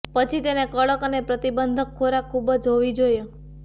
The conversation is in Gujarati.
પછી તેને કડક અને પ્રતિબંધક ખોરાક ખૂબ જ હોવી જોઈએ